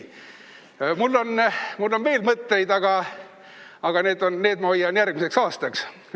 Mul on veel mõtteid, aga need ma hoian järgmiseks aastaks.